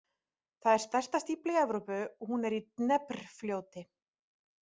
Það er stærsta stífla í Evrópu og hún er í Dnépr- fljóti.